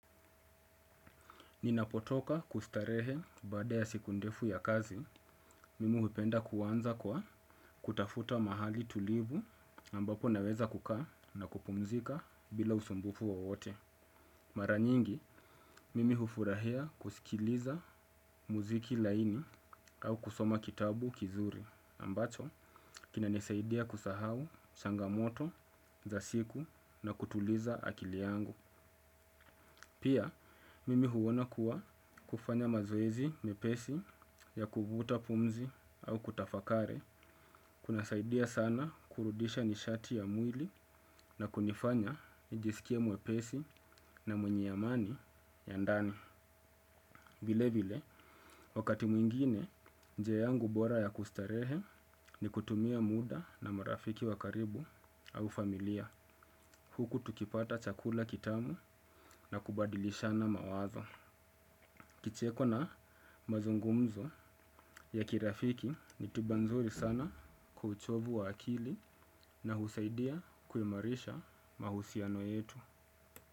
Ninapotoka kustarehe baada ya siku ndefu ya kazi, mimi hupenda kuanza kwa kutafuta mahali tulivu ambapo naweza kukaa na kupumzika bila usumbufu wowote. Mara nyingi, mimi hufurahia kusikiliza muziki laini au kusoma kitabu kizuri ambacho kina nisaidia kusahau changamoto za siku na kutuliza akili yangu. Pia, mimi huona kuwa kufanya mazoezi mepesi ya kuvuta pumzi au kutafakari. Kunasaidia sana kurudisha nishati ya mwili na kunafanya vile vile wakati mwingine, njia yangu bora ya kustarehe ni kutumia muda na marafiki wa karibu au familia. Huku tukipata chakula kitamu na kubadilishana mawazo kicheko na mazungumzo ya kirafiki ni tiba nzuri sana kwa uchovu wa akili na husaidia kuimarisha mahusiano yetu.